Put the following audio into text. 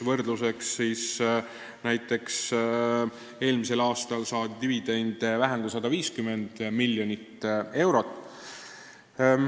Võrdluseks niipalju, et näiteks eelmisel aastal saadi dividende vähem kui 150 miljonit eurot.